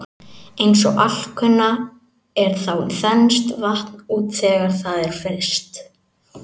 Eins og alkunna er þá þenst vatn út þegar það er fryst.